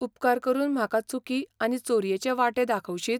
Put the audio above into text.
उपकार करून म्हाका चुकी आनी चोरयेचे वांटे दाखवशीत?